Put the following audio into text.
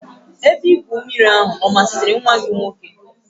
Ebe igwu mmiri ahụ ọ masịrị nwa gị nwoke?